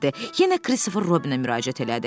Yenə Kristofer Robinə müraciət elədi.